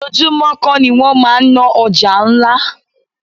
Ojoojúmó kó ni wọ́n máa ń ná ọjà ńlá.